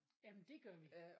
Jamen det gør vi